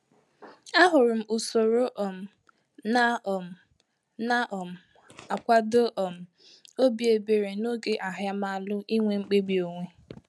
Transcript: A hụrụ m usoro um ná um ná um akwado um obi ebere ná ògè ahiamalu inwe mkpebi onwe